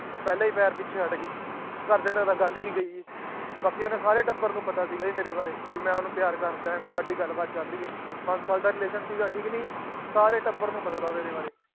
ਉਹ ਪਹਿਲੇ ਹੀ ਪੈਰ ਪਿਛੇ ਹੱਟ ਗਈ ਘਰਦਿਆਂ ਤਕ ਤਾਂ ਗੱਲ ਹੀ ਨਈ ਗਈ ਸੀ ਬਾਕੀ ਆਉਂਦੇ ਸਾਰੇ ਟੱਬਰ ਨੂੰ ਪਤਾ ਸੀਗਾ ਮੇਰੇ ਬਾਰੇ ਕਿ ਮੈਂ ਓਹਨੂੰ ਪਿਆਰ ਕਰਦਾ ਹੈ ਤੇ ਸਾਡੀ ਗੱਲ ਬਾਤ ਚਾਲ ਰਹੀ ਹੈ ਪਾਜ ਸਾਲ ਦਾ ਸੀਗਾ ਠੀਕ ਨੀ ਸਾਰੇ ਟੱਬਰ ਨੂੰ ਪਤਾ ਸੀ ਮੇਰੇ ਬਾਰੇ